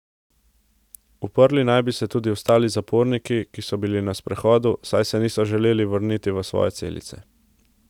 Uprli naj bi se tudi ostali zaporniki, ki so bili na sprehodu, saj se niso želeli vrniti v svoje celice.